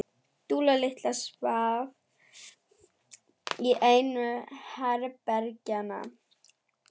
Dúlla litla svaf í einu herbergjanna.